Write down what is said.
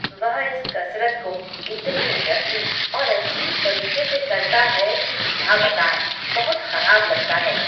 वह इस कसरत को इतने रद्दी और अजीब तरीके करता है कि क्या बताएँ, बहुत खराब लगता है।